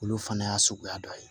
Olu fana y'a suguya dɔ ye